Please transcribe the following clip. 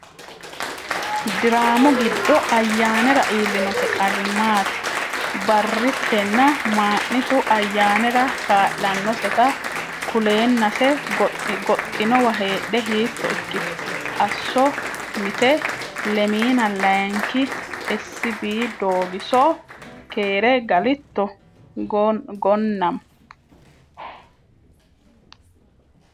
Diraamu giddo Ayyaanera iillinose qarri maati? Ba’riitenna Maa’nitu Ayyaanera kaa’lannoseta kuleennase goxxinowa heedhe hiitto ikkitu? Asso Mite 22kkII l S B Doogiso: Keere galitto Gonnama?